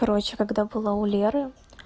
короче когда была у леры